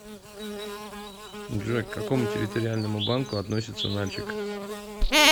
джой к какому территориальному банку относится нальчик